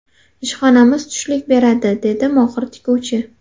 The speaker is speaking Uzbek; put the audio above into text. Ishxonamiz tushlik beradi”, dedi mohir tikuvchi.